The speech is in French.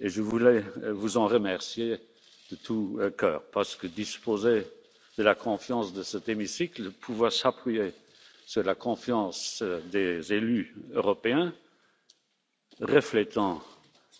Je voulais vous en remercier de tout cœur parce que disposer de la confiance de cet hémicycle, pouvoir s'appuyer sur la confiance des élus européens reflétant